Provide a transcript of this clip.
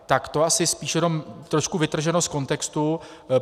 Tak to asi spíše jenom trošku vytrženo z kontextu.